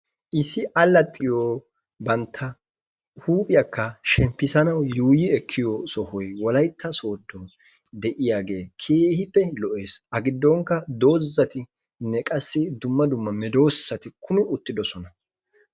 Issi alaxxiyo bantta huuphphiyaakka shemppissi ekkanawu yuuyi ekkiyo sohoy wolaytta sodon de'iyaagee keehiipe lo'ees.A gidonkka dozzattinne qassi dumma dumma medoosati kumi uttidosona.